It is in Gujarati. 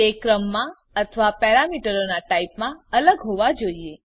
તે ક્રમમાં અથવા પેરામીટરોનાં ટાઇપમાં અલગ હોવા જોઈએ